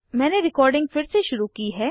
मैंने रिकॉर्डिंग फिर से शुरू की है